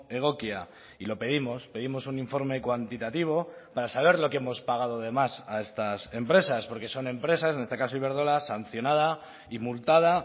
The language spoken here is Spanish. egokia y lo pedimos pedimos un informe cuantitativo para saber lo que hemos pagado de más a estas empresas porque son empresas en este caso iberdrola sancionada y multada